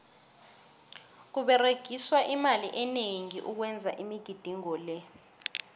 kuberegiswa imali eningi ukwenza imigidingo le